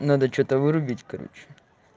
надо что-то вырубить короче